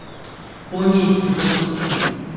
помесь запусти